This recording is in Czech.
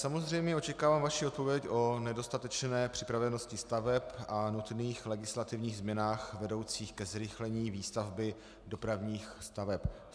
Samozřejmě očekávám vaši odpověď o nedostatečné připravenosti staveb a nutných legislativních změnách vedoucích ke zrychlení výstavby dopravních staveb.